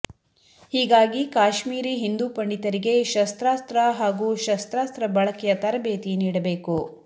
ಹೀಗಾಗಿ ಕಾಶ್ಮೀರಿ ಹಿಂದೂ ಪಂಡಿತರಿಗೆ ಶಸ್ತ್ರಾಸ್ತ್ರ ಹಾಗೂ ಶಸ್ತ್ರಾಸ್ತ್ರ ಬಳಕೆಯ ತರಬೇತಿ ನೀಡಬೇಕು